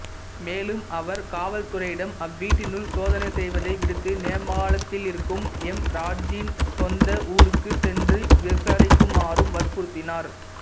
மேலும் அவர் காவல்துறையிடம் அவ்வீட்டினுள் சோதனை செய்வதை விடுத்து நேபாளத்திலிருக்கும் ஹேம்ராஜின் சொந்த ஊருக்கு சென்று விசாரிக்குமாறும் வற்புறுத்தினார்